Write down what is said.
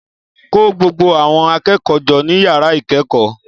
Kó gbogbo àwọn akẹ́kọ̀ọ́ jọ ní yàrá ìkẹ́kọ̀ọ́